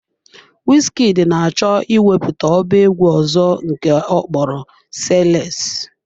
Wizkid na-achọ ịwepụta ọba egwu ọzọ nke ọkpọrọ " SAYLESS "